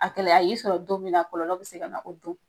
A gɛlɛya y'i sɔrɔ don min na , kɔlɔlɔ be se ka na o don.